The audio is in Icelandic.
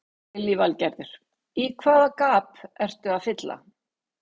Lillý Valgerður: Í hvaða gap ertu að fylla?